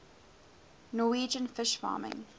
norwegian fish farming